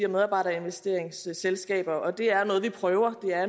medarbejderinvesteringsselskaber og det er noget vi prøver det er